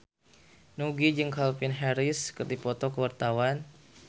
Nugie jeung Calvin Harris keur dipoto ku wartawan